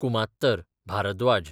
कुमात्तर, Bhardwaj